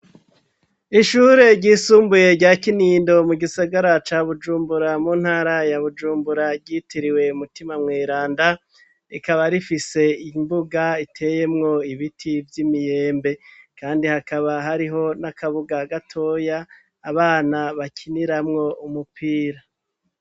Ishure ryisumbuye rya Kinindo mu gisagara ca Bujumbura mu ntara ya Bujumbura ryitiriwe mutima mweranda, rikaba rifise imbuga iteyemwo ibiti vy'imyembe kandi hakaba hariho n'akabuga gatoya abana bakiniramwo umupira.